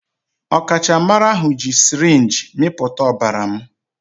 Ọkachamara ahụ ji sirinji mịpụta ọbara m